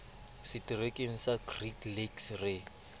seterekeng sa great lakes re